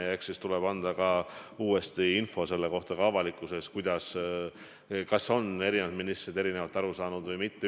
Ja eks siis tuleb uuesti ka avalikkusele anda info, kuidas asi on ja kas on eri ministrid plaanist erinevalt aru saanud või mitte.